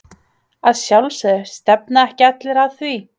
Að sjálfsögðu, stefna ekki allir að því?